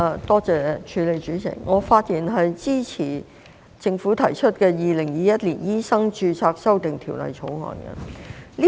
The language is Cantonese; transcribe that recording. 代理主席，我發言支持政府提出的《2021年醫生註冊條例草案》。